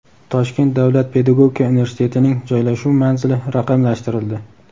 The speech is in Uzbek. Toshkent davlat pedagogika universitetining joylashuv manzili raqamlashtirildi.